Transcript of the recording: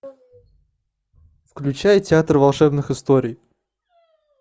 включай театр волшебных историй